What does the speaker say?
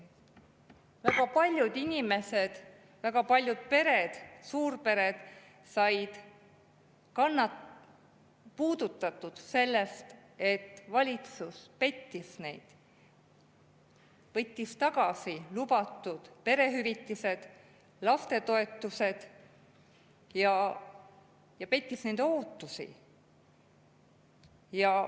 Väga paljud inimesed, väga paljud pered, suurpered, said puudutatud sellest, et valitsus pettis neid – võttis tagasi lubatud perehüvitised ja lastetoetused, pettis nende ootusi.